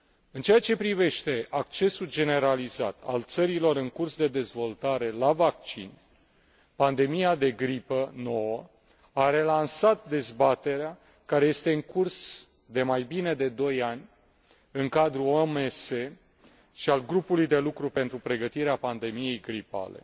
În ceea privește accesul generalizat al țărilor în curs de dezvoltare la vaccin, pandemia de gripă nouă a relansat dezbaterea care este în curs de mai bine de doi ani în cadrul OMS și al Grupului de lucru pentru pregătirea pandemiei gripale,